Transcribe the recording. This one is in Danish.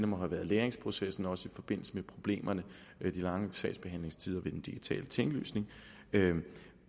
må have været læringsprocessen også i forbindelse med problemerne med de lange sagsbehandlingstider ved den digitale tinglysning det er